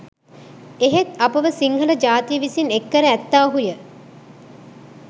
එහෙත් අපව සිංහල ජාතිය විසින් එක් කර ඇත්තාහුය